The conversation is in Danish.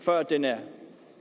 før den er